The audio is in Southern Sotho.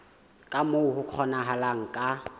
ka moo ho kgonahalang ka